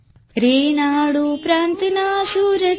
Telugu sound clip 27 seconds Hindi translation